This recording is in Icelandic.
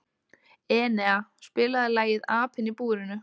Enea, spilaðu lagið „Apinn í búrinu“.